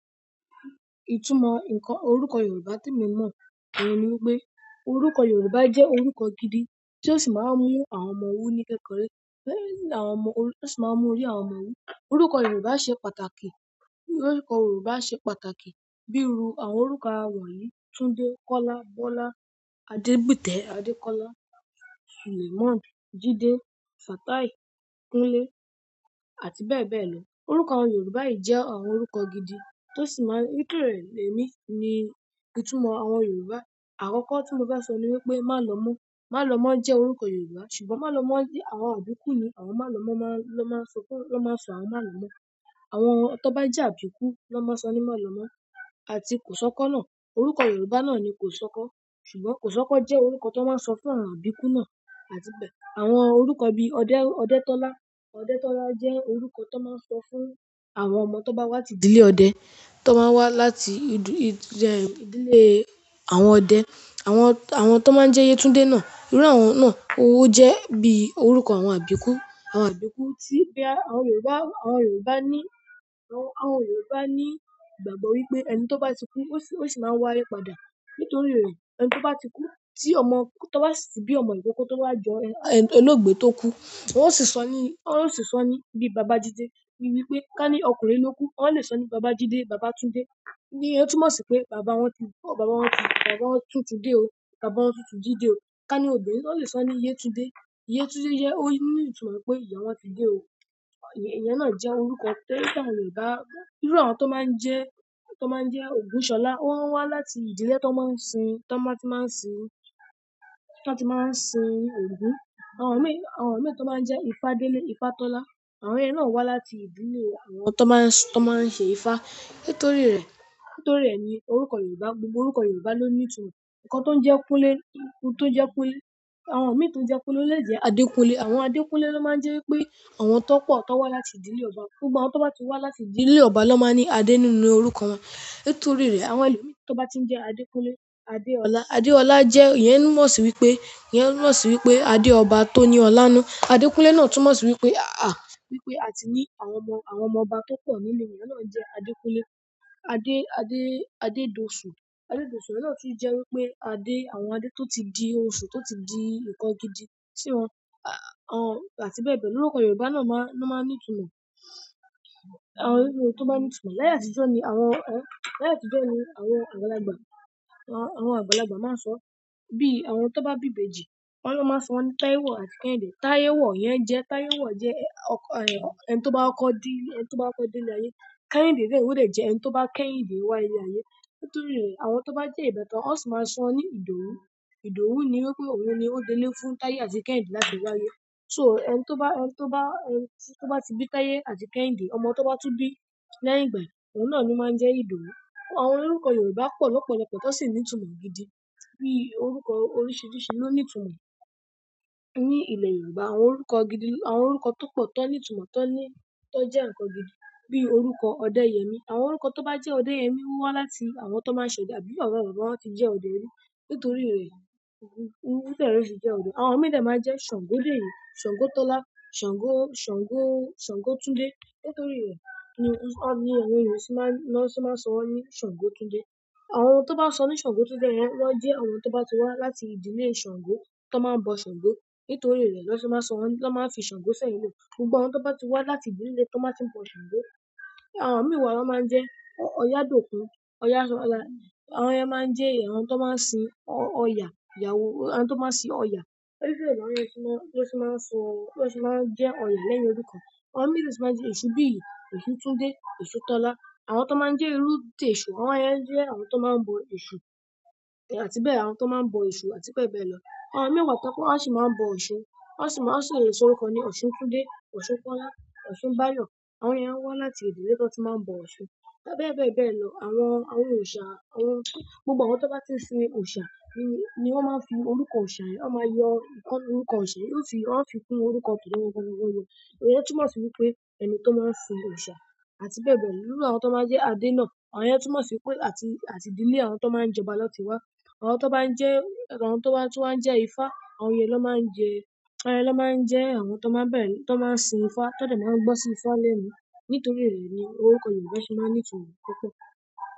Ìtumọ̀ ǹkan orúkọ Yorùbá tí èmi mọ nìyẹn ni wípé orúkọ Yorùbá jẹ́ orúkọ gidi tí ó sì máa ń mú àwọn ọmọ wù ní kẹ́kọrẹ́, tó sì máa ń mú orí àwọn ọmọ wù. Orúkọ Yorùbá ṣe pàtàkì, orúkọ Yorùbá ṣe pàtàkì bíi irú àwọn orúkọ àwọn wònyí, Túndé, Kọ́lá, Bọ́lá, Adébùtẹ́, Adékọ́lá, Sùlèmón, Jídé, Fátàì, Kúnlé àti bẹ́ẹ̀ bẹ́ẹ̀ lọ. Orúkọ àwọn Yorùbá yìí jẹ́ àwọn orúkọ gidi tó sì máa ń rẹ̀ yike lẹ́yìn ni ìtumọ̀ àwọn Yorùbá. Àkọ́kọ́ tí mo bá sọ ni wípé Málemọ́, Málemọ́ jẹ́ orúkọ Yorùbá ṣùgbọ́n Málemọ́ ní àwọn àbíkú ni àwọn Málemọ́ máa ń lọ máa sọ fún, lọ máa sọ àwọn Málemọ́. Àwọn tó bá jẹ àbíkú lọ́ máa ń sọ ní Málemọ́ àti Kòsọ́kọ́ náà. Orúkọ Yorùbá náà ni Kòsọ́kọ́ ṣùgbọ́n Kòsọ́kọ́ jẹ́ orúkọ tó máa ń sọ fún àwọn àbíkú náà àti bẹ́ẹ̀. Àwọn orúkọ bí Ọdẹ́, Ọdẹ́tọ́lá, Ọdẹ́tọ́lá jẹ́ orúkọ tó máa ń sọ fún àwọn ọmọ tó bá wá ti ìdílé ọdẹ, tó máa ń wá láti ìdílé àwọn ọdẹ. Àwọn, àwọn tó máa ń jẹ́ Yetúndé náà, irú àwọn náà ó jẹ́ bí i orúkọ àwọn àbíkú, àwọn àbíkú tí bí àwọn Yorùbá, àwọn Yorùbá ní, àwọn Yorùbá ní ìgbàgbọ́ wípé ẹni tó bá ti kú ó sì máa wá ye padà. Nítorí èyí, ẹni tó bá ti kú tí ọmọ tó bá sí bí ọmọ ìkọ́kọ̀ tó bá jẹ olóògbé tó kú wón o sì sọ ní, wón o sì sọ ní bíi Bàbájídé. Ó ní wípé ká ní ọkùnrin ló kú ó lè sọ ní Bàbájídé, Bàbátúndé. Ni ẹ́ túmọ̀ sí pé bàbá wọn tú, bàbá wọn tú, bàbá wọn tú Túndé o, bàbá wọn tú ti jide o ọmọ obìnrin, won le so ni yetunde Yétúndé jẹ́ ó ní ìtumọ̀ pé ìyá wọn ti dé o. Ìyẹn náà jẹ́ orúkọ tí àwọn Yorùbá, irú àwọn tó máa ń jẹ́, tó máa ń jẹ́ Ògúnṣọlá ó ń wá láti ìdílé tó máa ń sin, tó máa tí máa ń sin, tó máa tí máa ń sin Ògún. Àwọn mìí, àwọn mìí tó máa ń jẹ́ Ifádélé, Ifátọ́lá, àwọn yẹn náà wá láti ìdílé àwọn tó máa ń sìn, tó máa ń ṣe Ifá. Nítorí rẹ̀, nítorí rẹ̀ ni orúkọ Yorùbá, gbogbo orúkọ Yorùbá ló ní ìtumọ̀. Ǹkan tó ń jẹ́ Kúnlé, tó ń jẹ́ Kúnlé, àwọn mìíràn tó ń jẹ́ Kúnlé lè jẹ́ Adékúnlé. Àwọn Adékúnlé ló máa ń jẹ́ wípé àwọn tó pọ̀ tó wá láti ìdílé ọba. Gbogbo àwọn tó bá ti wá láti ìdílé ọba ló máa ń ní Adé nínú orúkọ wọn. Nítorí rẹ̀ àwọn ẹlòmíràn tó bá ti ń jẹ́ Adékúnlé, Adéọlá. Adéọlá jẹ́ ìyẹn n mú wọ́n sì wípé, ìyẹn n mú wọ́n sì wípé Adé ọba tó ní ọlá nù. Adékúnlé náà tún mú wọ́n sì wípé à, wípé àti ní àwọn ọmọ, àwọn ọmọ ọba tó pọ̀ nínú ìyẹn náà jẹ́ Adékúnlé. Adé, Adé, Adédòṣù. Adédòṣù náà sì jẹ́ wípé Adé, àwọn Adé tó ti di òṣù, tó ti di ǹkan gidi sí wọn, à, àti bẹ́ẹ̀ bẹ́ẹ̀ lọ. Orúkọ Yorùbá náà máa ń ní ìtumọ̀. Àwọn oríṣìíríṣìí tó bá ní ìtumọ̀. Láyé àtijọ́ ni àwọn, láyé àtijọ́ ni àwọn àgbàlagbà, àwọn àgbàlagbà máa ń sọ bí àwọn tó bá bí ìbejì wọ́n ló máa sọ wón ní Táyéwọ̀ àti Kẹ́hìndé. Táyéwọ̀ yẹn jẹ́, Táyéwọ̀ jẹ́ ọkọ, ẹni tó bá ọkọ dí, ẹni tó bá ọkọ de ile ayé. Kẹ́hìndé náà ó lè jẹ́ ẹni tó bá kéhìndé wá ile ayé. Torí re, àwọn to ba je beta, won si maa n so won ni idowu Ìdòwú ni wípé òun ni ó délé fún táyé àti Kẹ́hìndé láti wá ayé. So ẹni tó bá, ẹni tó bá, ẹni tó bá ti bí táyé àti Kẹ́hìndé, ọmọ tó bá tú bí lẹ́yìn ìgbà, ohun náà ni o máa ń jẹ́ Ìdòwú. Àwọn orúkọ Yorùbá pọ̀ lópọ̀lọpọ̀ tó sì ń ní ìtumọ̀ gidi bíi orúkọ oríṣìíríṣìí ló ní ìtumọ̀ ní ilẹ̀ Yorùbá. Àwọn orúkọ gidi, àwọn orúkọ to po ti won ni itumo, ti won je nkan gidi, bi orúkọ odeyemi, àwọn orúkọ ti won je odeyemi wo wa láti àwọn to maa n se ode àbí àwọn baba baba won ti je ode ri. Nítorí rẹ̀, ó bẹ́ẹ̀ rí tí jẹ́ ọdẹ. Àwọn mìíràn máa ń jẹ́ Sàngódére, Sàngótọ́lá, Sàngó, Sàngó, Sàngótúndé. Nítorí rẹ̀ ni wọ́n sì máa ń sọ wọ́n ní Sàngótúndé. Àwọn tó bá ń sọ ní Sàngótúndé yẹn wọ́n jẹ́ àwọn tó bá ti wá láti ìdílé Sàngó, tó máa ń bọ Sàngó. Nítorí rẹ̀ lọ́ sì máa ń sọ wọn, lọ́ máa ń fi Sàngó sẹ́yìn wò. Gbogbo àwọn tó bá ti wá láti ìdílé tó máa ti ń bọ Sàngó. Àwọn mìíràn won máa ń jẹ́ Oyàdòkún, Ọya, àwọn yen máa ń jẹ́ àwọn tó máa ń sin Ọ, Ọya ìyàwó, àwọn tó máa ń sin Ọya. Nítorí rẹ̀ lọ́ sì máa ń sọ, lọ́ sì máa ń jẹ́ Ọya lẹ́yìn orúkọ wọn. Àwọn mìí de tun máa ń jẹ́ Èṣùbìyìí, Èṣútúndé, Èṣútọ́lá. Àwọn tó máa ń jẹ́ irú tó jẹ́ Èṣù, àwọn yẹn jẹ́ àwọn tó máa ń bọ Èṣù àti bẹ́ẹ̀, àwọn tó máa ń bọ Èṣù àti bẹ́ẹ̀ bẹ́ẹ̀ lọ. Àwọn mìíràn pọ̀ tó bá wọ́n sì máa ń bọ òṣun. Wọ́n sì máa, wọ́n sì lè sọ orúkọ ní Ọ̀ṣuntúndé, Ọ̀ṣunkọ́lá, Ọ̀ṣúnbáyọ̀. Àwọn yẹn wá láti ìdílé tó ti máa ń bọ òṣun àti bẹ́ẹ̀ bẹ́ẹ̀ lọ. Àwọn, àwọn òòṣà, àwọn gbogbo àwọn tó bá ti ń sin òòṣà ni wọ́n máa ń fi orúkọ òòṣà yẹn, wọ́n máa yọ orúkọ òòṣà yẹn, wọ́n ó fi, wọ́n ó fi fún orúkọ tó ń yọ. Ìyẹn túmọ̀ sí wípé ẹni tó máa ń sin òòṣà àti bẹ́ẹ̀ bẹ́ẹ̀ lọ. Nínú àwọn tó máa jẹ́ Adé náà, àwọn yen túmọ̀ sí wípé àti, àti ìdílé àwọn tó máa ń jẹ oba na ti wá. Àwọn tan ba tun wa n je ifa, àwọn yen na maa n je àwọn tan maa n sin if ti won si maa gbo si lẹ́nu, nítorí re ni orúkọ yorùbá se maa ni itumo púpọ̀.